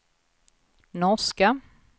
norska